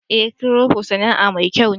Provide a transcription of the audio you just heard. Eh, "crypto" Sana'a mai kyau ne.